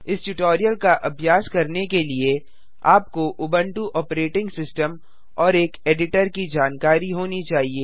इस ट्यूटोरियल का अभ्यास करने के लिए आपको उंबटु ऑपरेटिंग सिस्टम और एक एडिटर की जानकारी होनी चाहिए